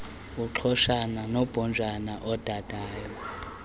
iqhoshana lombhojana odadayo